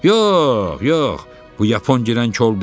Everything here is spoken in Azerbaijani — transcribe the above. Yox, yox, bu yapon girən kol deyil.